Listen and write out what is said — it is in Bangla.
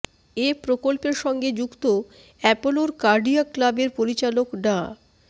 এ প্রকল্পের সঙ্গে যুক্ত অ্যাপোলোর কার্ডিয়াক ক্লাবের পরিচালক ডা